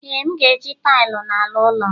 ee, m ga-eji taịlị n'ala ụlọ'm